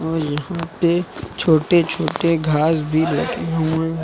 और यहां पे छोटे छोटे घास भी लगे हुए हैं।